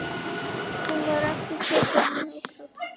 Hún var aftur tekin að hágráta.